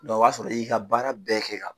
o b'a sɔrɔ i y'i ka baara bɛɛ kɛ ka ban.